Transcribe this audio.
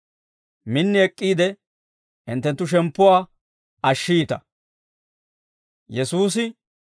Min ek'k'iide hinttenttu shemppuwaa ashshiita.